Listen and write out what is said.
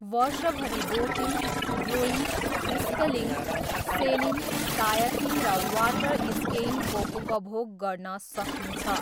वर्षभरि boating, rowing, sculling, sailing, kayaking र water स्किइङको उपभोग गर्न सकिन्छ।